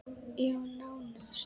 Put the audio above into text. Já, nánast.